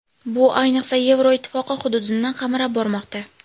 Bu, ayniqsa, Yevropa Ittifoqi hududini qamrab bormoqda.